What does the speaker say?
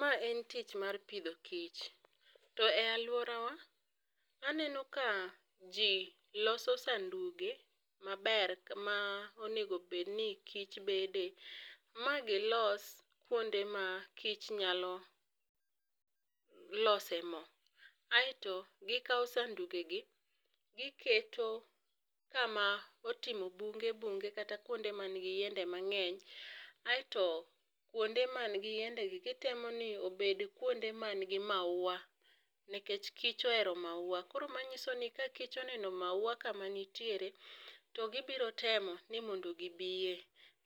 Ma en tich mar pidho kich to e aluora wa aneno ka ji loso sanduge ma ber ma onego bed ni kich bede, ma go los kuonde ma kich nyalo lose moo asto gi kao sanduge gi gi keto kama otimo bunge bunge kata kuonde ma ni gi yiende mang'eny aito kuonde ma ni gi yiende gi gi temo mondo obed ku ma ni gi mauwa nekech kich ohero mauwa. Koro ma ng'iso ni ka kich oneno mauwa ka ma nitiere to gi biro temo ni mondo gi biye